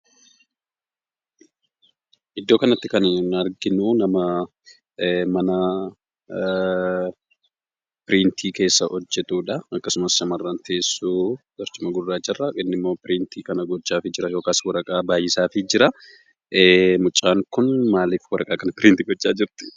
Iddoo kanatti kan nuyi arginu nama, Mana piriintii keessa hojjetudha. akkasumas shamarraan teessoo barcumaa guraacha irraa, innimmo piriintii gochaafi jira yookiin waraqaa baay'isaafi jira. mucaan kun maaliif waraqaa kana piriinti gocha jirti?